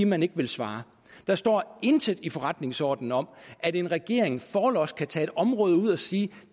man ikke vil svare der står intet i forretningsordenen om at en regering forlods kan tage et område ud og sige